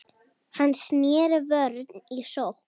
Hann sneri vörn í sókn.